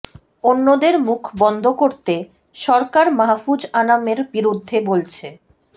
অন্যদের মুখ বন্ধ করতে সরকার মাহ্ফুজ আনামের বিরুদ্ধে বলছে